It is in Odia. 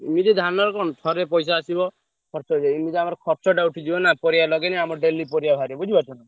ଏମିତି ଧାନରେ କଣ ଥରେ ପଇସା ଆସିବ ଖର୍ଚ ହେଇଯାଏ ଏମିତି ଆମର ଖର୍ଚଟା ଉଠିଯିବ ନା ପରିବା ଲଗେଇଲେ ଆମର daily ପରିବା ବାହାରିବ ବୁଝିପାରୁଛନା।